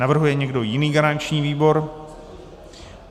Navrhuje někdo jiný garanční výbor?